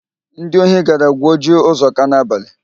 Ndi ohi gara gwuo ji Ụzọka n'abalị.